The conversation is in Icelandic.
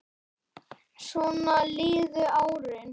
Svona liðu árin.